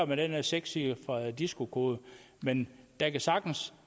med den sekscifrede disco kode men der kan sagtens